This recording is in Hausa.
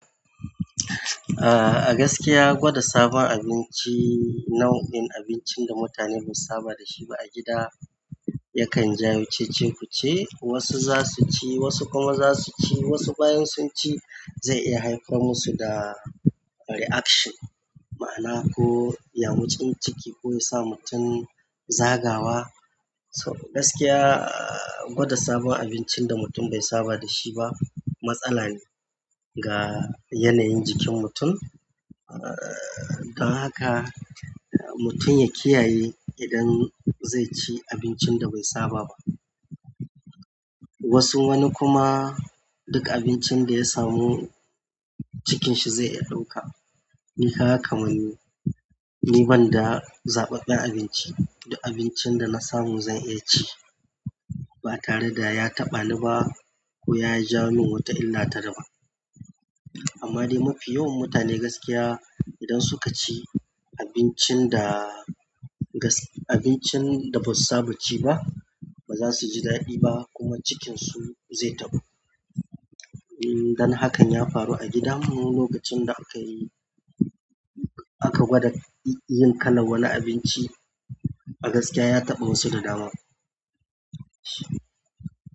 A'a gaskiya gwada sabon abinci, nau'in abincin da mutane bai saba da shi ba a gida, yakan jawo cece-kuce. Wasu za su ci, wasu kuma za su ci, wasu bayan sun ci zai iya haifar musu da reaction, ma'ana ko yamutsin ciki ko ya sa mutum zagawa. So gaskiya, gwada sabon abincin da mutum bai saba da shi ba matsala ne, ga yanayin jikin mutum. Dan haka mutum ya kiyaye idan zai ci abincin da bai saba ba. Wasu wani kuma, duk abincin da ya samu cikinshi zai iya ɗauka. Ni kaga kamar ni, ni banda zaɓaɓɓen abinci, duk abincin da na samu zan iya ci ba tare da ya taɓa ni ba, ko ya jawo min wata illa ta daban. Amma dai mafi yawan mutane gaskiya idan suka ci abincin da gas. Abincin da basu saba ci ba, ba za su ji daɗi ba kuma cikinsu zai tabu. Dan hakan ya faru a gidanmu lokacin da akayi, aka gwada yin kalan wani abinci a gaskiya ya taɓa wasu da dama.